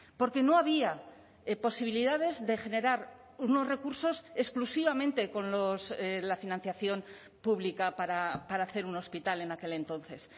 porque no había posibilidades de generar unos recursos exclusivamente con la financiación pública para hacer un hospital en aquel entonces